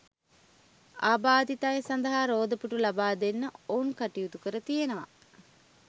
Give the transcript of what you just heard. ආබාධිත අය සඳහා රෝද පුටු ලබාදෙන්න ඔවුන් කටයුතු කර තියෙනවා.